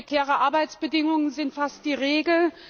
Prekäre Arbeitsbedingungen sind fast die Regel.